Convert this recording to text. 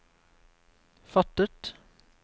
fattet